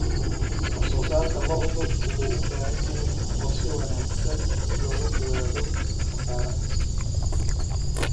Wax soo saarka lo'du wuxuu u baahan yahay qorshe wanaagsan si looga fogaado khasaaraha.